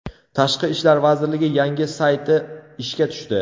Tashqi ishlar vazirligi yangi sayti ishga tushdi.